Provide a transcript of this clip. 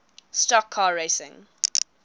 stock car racing